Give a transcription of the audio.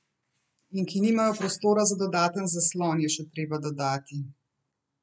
In ki nimajo prostora za dodaten zaslon, je še treba dodati.